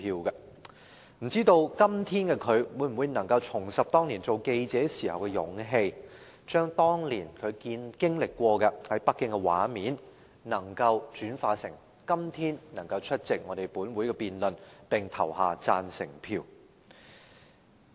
不知道今天的她，能否重拾當年做記者時的勇氣，將她當年在北京經歷的畫面，轉化成今天出席本會的辯論，並投下贊成票。